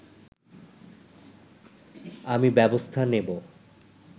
আমি ব্যবস্থা নেব